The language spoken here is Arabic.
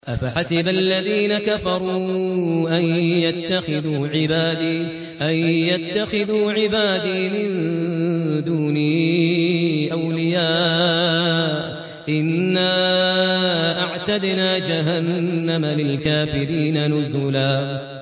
أَفَحَسِبَ الَّذِينَ كَفَرُوا أَن يَتَّخِذُوا عِبَادِي مِن دُونِي أَوْلِيَاءَ ۚ إِنَّا أَعْتَدْنَا جَهَنَّمَ لِلْكَافِرِينَ نُزُلًا